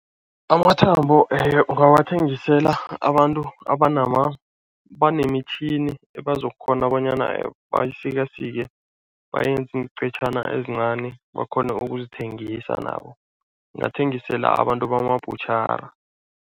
Amathambo ungawathengisela abantu abanemitjhini ebazokukghona bonyana bayisikasike, bayenza iinqetjhana ezincani bakghone ukuzithengisa nabo, angathengisela abantu bamabhutjhara.